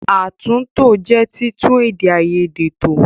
Àtúntò jẹ́ títún èdè àìyedè tò.